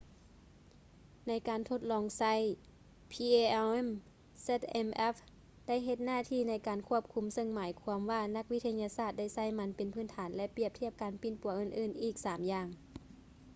ໃນການທົດລອງໃຊ້ palm zmapp ໄດ້ເຮັດໜ້າທີ່ໃນການຄວບຄຸມ ເຊິ່ງໝາຍຄວາມວ່ານັກວິທະຍາສາດໄດ້ໃຊ້ມັນເປັນພື້ນຖານ ແລະ ປຽບທຽບການປິ່ນປົວອື່ນໆອີກສາມຢ່າງ